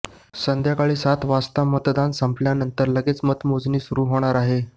संध्याकाळी सात वाजता मतदान संपल्यानंतर लगेच मतमोजणी सुरुवात होणार आहे